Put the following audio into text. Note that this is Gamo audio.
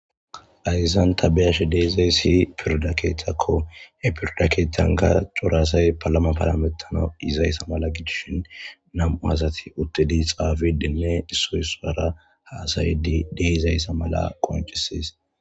Hayssan tani be'ashshe de'iizayssi pirdda keththako he pirdda keththanka cora assay paalama paalamettanawu yiizayssa mala gidishin nam'u uttidi hassa'ishshene xaafishshe de'izayssa qonccisess